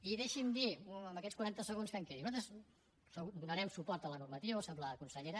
i deixi’m dir en aquests quaranta segons que em quedin nosaltres segur donarem suport a la normativa ho sap la consellera